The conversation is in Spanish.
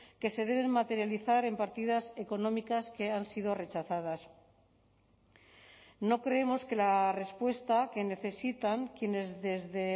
que se deben materializar en partidas económicas que han sido rechazadas no creemos que la respuesta que necesitan quienes desde